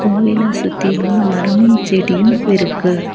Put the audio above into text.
கோவில சுத்திலு மரமு செடியும் இருக்கு.